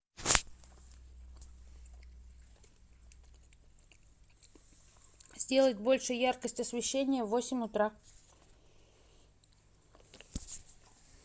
сделать больше яркость освещения в восемь утра